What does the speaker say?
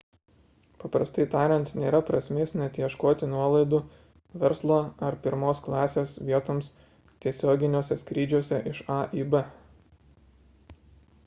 paprastai tariant nėra prasmės net ieškoti nuolaidų verslo ar pirmos klasės vietoms tiesioginiuose skrydžiuose iš a į b